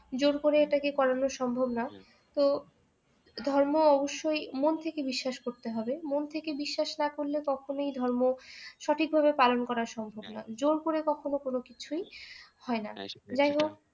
জোর করে এটাকে করানো সম্ভব না তো ধর্ম অবশ্যই মন থেকে বিশ্বাস করতে হবে মন থেকে বিশ্বাস না করলে কখনোই ধর্ম সঠিকভাবে পালন করা সম্ভব না জোর করে কখনো কোনো কিছুই হয় না যাইহোক